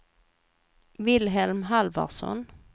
Vilhelm Halvarsson